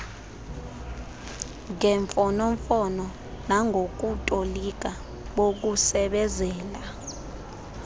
ngemfonomfono nangokutolika bokusebezela